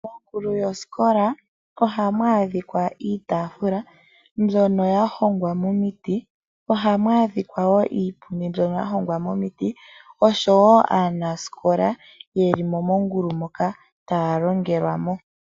Ongulu yosikola ohamu adhika iitafula mbyoka ya hongwa momiti niipundu, osho wo aanasikola yeli mongulu moka taya longelwa mo.